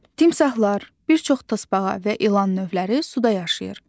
Timsahlar, bir çox tısbağa və ilan növləri suda yaşayır.